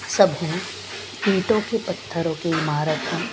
सभी पीठों के पत्थरों की इमारत हैं।